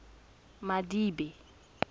madibe